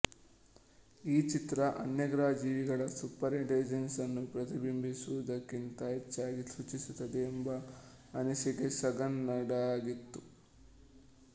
ಈ ಚಿತ್ರ ಅನ್ಯಗ್ರಹ ಜೀವಿಗಳ ಸುಪರ್ ಇಂಟೆಲಿಜೆನ್ಸ್ ನ್ನು ಪ್ರತಿಬಿಂಬಿಸುವುದಕ್ಕಿಂತ ಹೆಚ್ಚಾಗಿ ಸೂಚಿಸುತ್ತದೆ ಎಂಬ ಅನಿಸಿಕೆ ಸಗಾನ್ ನದಾಗಿತ್ತು